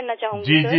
करना चाहूंगी सर